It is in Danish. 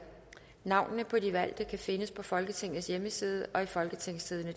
navnene på de valgte kan findes på folketingets hjemmeside og i folketingstidende